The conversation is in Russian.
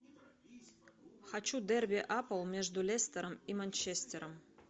хочу дерби апл между лестером и манчестером